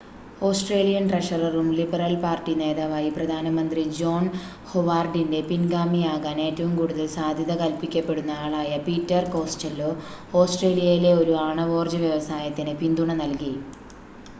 Australian ട്രഷററും Liberal Party നേതാവായി പ്രധാന മന്ത്രി ജോൺ ഹൊവാർഡിൻ്റെ പിൻഗാമിയാകാൻ ഏറ്റവും കൂടുതൽ സാധ്യത കൽപ്പിക്കപ്പെടുന്ന ആളായ പീറ്റർ കോസ്റ്റെല്ലോ ഓസ്ട്രേലിയയിലെ ഒരു ആണവോർജ്ജ വ്യവസായത്തിന് പിന്തുണ നൽകി